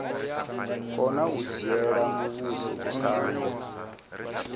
kona u dzhiela muvhuso vhukando